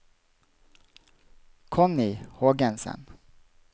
Connie Hågensen